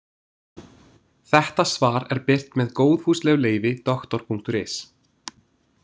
Þetta svar er birt með góðfúslegu leyfi Doktor.is.